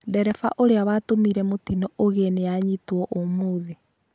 Ndereba ũrĩa watũmire mũtĩno ũgĩe nĩ anyitĩtwo ũmũthĩ